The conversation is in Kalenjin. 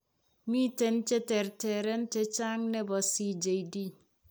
Miten che terteren chechang' ne po CJD.